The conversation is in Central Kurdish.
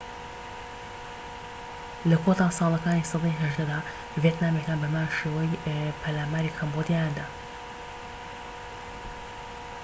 لە کۆتا ساڵەکانی سەدەی ١٨ دا، ڤێتنامیەکان بەهەمان شێوە پەلاماری کەمبۆدیایان داوە